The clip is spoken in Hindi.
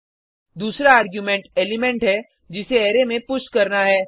दूसरा आर्गुमेंट एलिमेंट है जिसे अरै में पुश करना है